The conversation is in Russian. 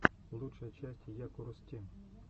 лучшая часть якурус тим